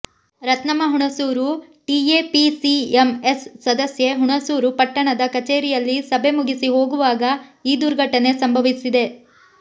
Ratnamma Hunsur TAPCMS ಸದಸ್ಯೆ ಹುಣಸೂರು ಪಟ್ಟಣದ ಕಚೇರಿಯಲ್ಲಿ ಸಭೆ ಮುಗಿಸಿ ಹೋಗುವಾಗ ಈ ದುರ್ಘಟನೆ ಸಂಭವಿಸಿದೆ